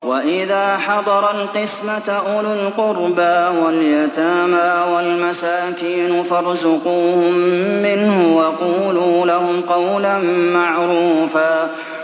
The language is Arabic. وَإِذَا حَضَرَ الْقِسْمَةَ أُولُو الْقُرْبَىٰ وَالْيَتَامَىٰ وَالْمَسَاكِينُ فَارْزُقُوهُم مِّنْهُ وَقُولُوا لَهُمْ قَوْلًا مَّعْرُوفًا